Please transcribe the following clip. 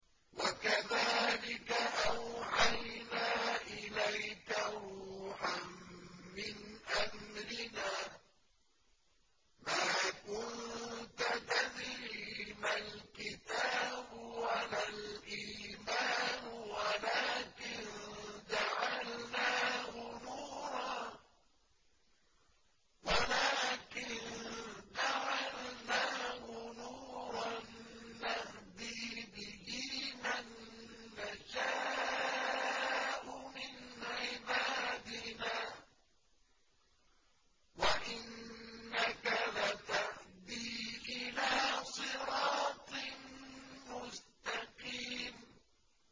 وَكَذَٰلِكَ أَوْحَيْنَا إِلَيْكَ رُوحًا مِّنْ أَمْرِنَا ۚ مَا كُنتَ تَدْرِي مَا الْكِتَابُ وَلَا الْإِيمَانُ وَلَٰكِن جَعَلْنَاهُ نُورًا نَّهْدِي بِهِ مَن نَّشَاءُ مِنْ عِبَادِنَا ۚ وَإِنَّكَ لَتَهْدِي إِلَىٰ صِرَاطٍ مُّسْتَقِيمٍ